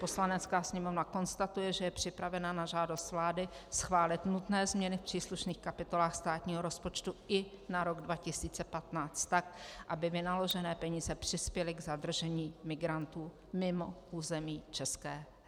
Poslanecká sněmovna konstatuje, že je připravena na žádost vlády schválit nutné změny v příslušných kapitolách státního rozpočtu i na rok 2015 tak, aby vynaložené peníze přispěly k zadržení migrantů mimo území ČR.